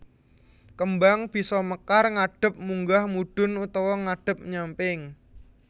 Kembang bisa mekar ngadhep munggah mudhun utawa ngadhep nyamping